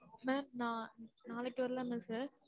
mam நான் நாளைக்கு வரலாமா? sir